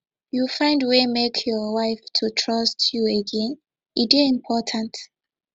you find wey make your wife to trust you again e dey important